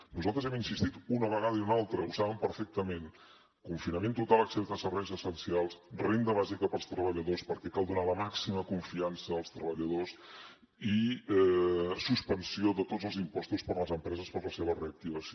nosaltres hi hem insistit una vegada i una altra ho saben perfectament confinament total excepte serveis essencials renda bàsica per als treballadors perquè cal donar la màxima confiança als treballadors i suspensió de tots els impostos per a les empreses per a la seva reactivació